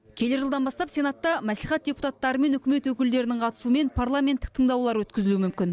келер жылдан бастап сенатта мәслихат депутаттары мен үкімет өкілдерінің қатысуымен парламенттік тыңдаулар өткізілуі мүмкін